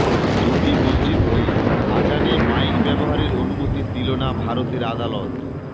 দুটি মসজিদকে আজানে মাইক ব্যবহারের অনুমতি দিল না ভারতের আদালত